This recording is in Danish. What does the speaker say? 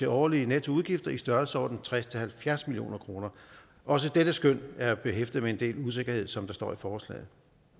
af årlige nettoudgifter i størrelsesordenen tres til halvfjerds million kroner også dette skøn er behæftet med en del usikkerhed som der står i forslaget